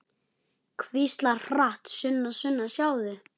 Hvíslar hratt: Sunna, Sunna, sjáðu!